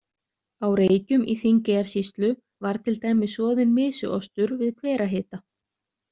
Á Reykjum í Þingeyjarsýslu var til dæmis soðinn mysuostur við hverahita.